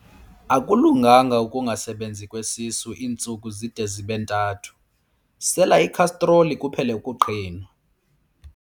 Akulunganga ukungasebenzi kwesisu iintsuku zide zibe ntathu, sela ikhastroli kuphele ukuqhinwa.